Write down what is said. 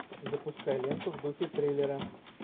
запускай ленту в духе триллера